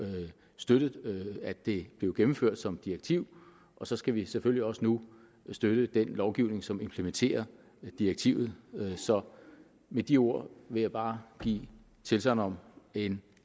støttet at det blev gennemført som direktiv og så skal vi selvfølgelig også nu støtte den lovgivning som implementerer direktivet så med de ord vil jeg bare give tilsagn om en